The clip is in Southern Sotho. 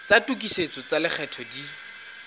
tsa tokisetso tsa lekgetho di